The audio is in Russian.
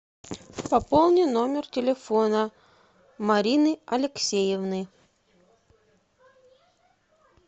пополни номер телефона марины алексеевны